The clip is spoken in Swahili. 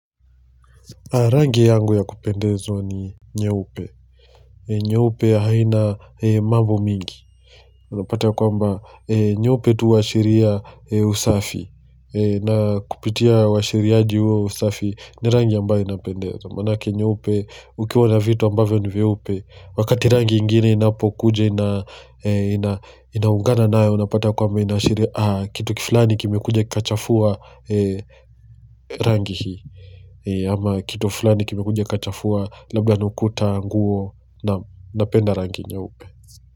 Rangi yangu ya kupendezwa ni nyeupe. Nyeupe haina mambo mingi Unapata kwamba nyeupe tu uashiria usafi. Na kupitia uashiriaji huo wa usafi ni rangi ambayo inapendezo. Manake nyeupe ukiwa na vitu ambavyo ni vyeupe wakati rangi ingine inapokuje inaungana nayo unapata kwamba inaashiria kitu flani kimekuja kikachafua rangi hii ama kitu fulani kimekuja kikachafua labda luku ta nguo napenda rangi nyeupe.